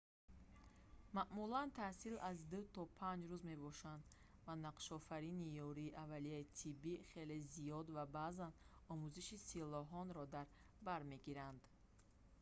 маъмулан таҳсил аз 2 то 5 рӯз мебошад ва нақшофаринӣ ёрии аввалияи тиббии хеле зиёд ва баъзан омӯзиши силоҳонро дар бар мегирад